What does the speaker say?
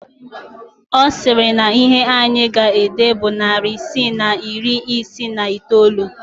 Ọ sịrị na ihe anyị ga-ede bụ narị isii na iri isii na iteolu